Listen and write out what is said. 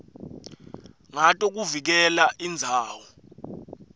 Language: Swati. ngato kuvikela indzawo